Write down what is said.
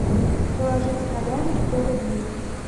положить коляну сто рублей